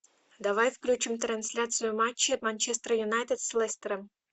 давай включим трансляцию матча манчестер юнайтед с лестером